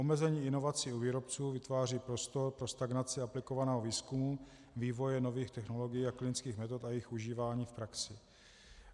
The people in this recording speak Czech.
Omezení inovací u výrobců vytváří prostor pro stagnaci aplikovaného výzkumu, vývoje nových technologií a klinických metod a jejich užívání v praxi.